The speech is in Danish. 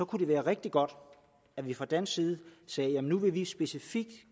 kunne det være rigtig godt at vi fra dansk side sagde nu vil vi specifikt